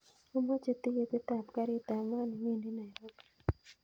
Amoche tiketit ab garit ab maat newendi nairobi